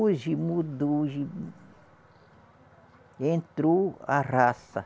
Hoje mudou, hoje Entrou a raça.